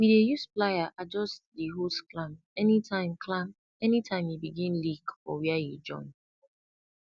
we dey use plier adjust di hose clamp anytime clamp anytime e begin leak for where e join